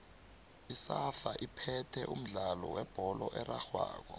isafa iphethe umdlalo webholo erarhwako